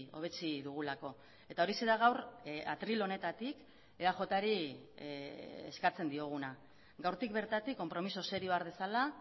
hobetsi dugulako eta horixe da gaur atril honetatik eajri eskatzen dioguna gaurtik bertatik konpromiso serioa har dezala